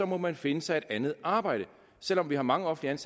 må man finde sig et andet arbejde selv om vi har mange offentligt